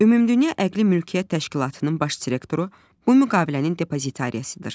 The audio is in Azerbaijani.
Ümumdünya Əqli Mülkiyyət Təşkilatının Baş Direktoru bu müqavilənin depozitarisidir.